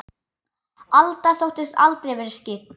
Alda þóttist aldrei vera skyggn.